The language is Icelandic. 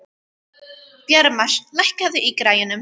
Bjarmar, lækkaðu í græjunum.